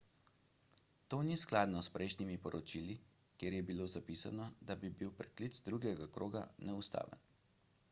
to ni skladno s prejšnjimi poročili kjer je bilo zapisano da bi bil preklic drugega kroga neustaven